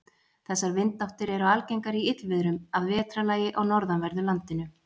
Þessar vindáttir eru algengar í illviðrum að vetrarlagi á norðanverðu landinu.